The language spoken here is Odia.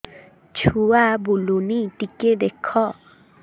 ଛୁଆ ବୁଲୁନି ଟିକେ ଦେଖ